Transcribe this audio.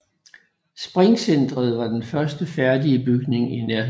Springcenteret var den første færdige bygning i Nærheden